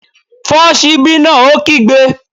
Fọ́ ṣíbí náà! Ó kígbe